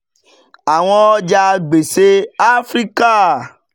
àwọn ọjà gbèsè áfíríkà